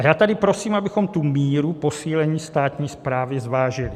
A já tady prosím, abychom tu míru posílení státní správy zvážili.